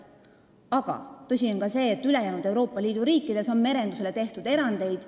Aga tõsi on see, et ülejäänud Euroopa Liidu riikides on merendusele tehtud erandeid.